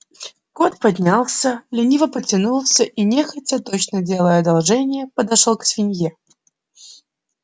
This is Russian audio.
кот поднялся лениво потянулся и нехотя точно делая одолжение подошёл к свинье